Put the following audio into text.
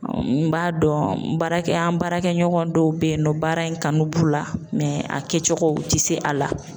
N b'a dɔn n baarakɛ an baarakɛ ɲɔgɔn dɔw bɛ ye nɔ baara in kanu b'u la a kɛcogo u tɛ se a la.